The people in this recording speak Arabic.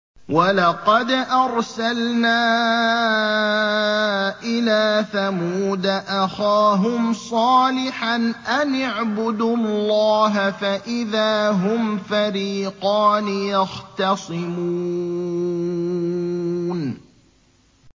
وَلَقَدْ أَرْسَلْنَا إِلَىٰ ثَمُودَ أَخَاهُمْ صَالِحًا أَنِ اعْبُدُوا اللَّهَ فَإِذَا هُمْ فَرِيقَانِ يَخْتَصِمُونَ